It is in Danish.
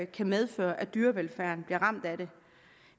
kan medføre at dyrevelfærden bliver ramt